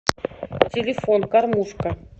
телефон кормушка